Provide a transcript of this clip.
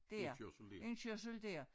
Dér indkørsel dér